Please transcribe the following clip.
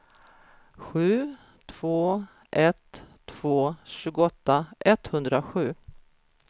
sju två ett två tjugoåtta etthundrasju